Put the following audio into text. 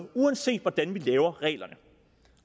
uanset hvordan vi laver reglerne